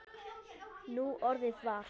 Núorðið var